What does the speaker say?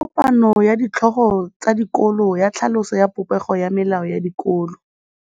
Go na le kopanô ya ditlhogo tsa dikolo ya tlhaloso ya popêgô ya melao ya dikolo.